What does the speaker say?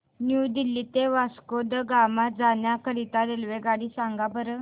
new Delhi ते वास्को द गामा जाण्या करीता रेल्वेगाडी सांगा बरं